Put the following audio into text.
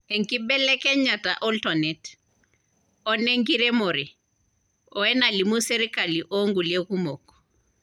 Enkibelekenyata oltonet, one nkiremore, o enalimu sirkali o nkulie kumok.